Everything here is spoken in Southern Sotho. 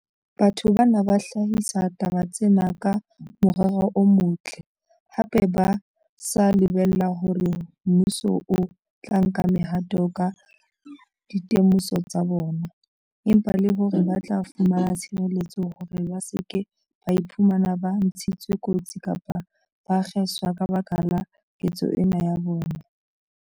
Batho bana ba hlahisa taba tsena ka morero o motle, hape ba sa lebella feela hore mmuso o tla nka mehato ka dite moso tsa bona, empa le hore ba tla fumana tshireletso hore ba se ke ba iphumana ba ntshitswe kotsi kapa ba kgeswa ka baka la ketso ena ya bona.